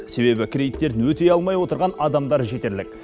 себебі кредиттерін өтей алмай отырған адамдар жетерлік